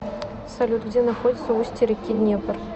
салют где находится устье реки днепр